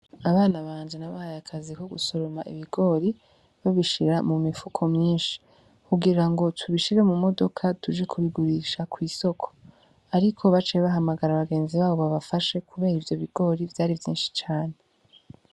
Abana banje na bahaye akazi ko gusoroma ebigori babishira mu mipfuko myinshi kugira ngo tubishire mu modoka duje kubigurisha kw'isoko, ariko bacebahamagara abagenzi babo babafashe, kubera ivyo bigori vyari vyinshi cane.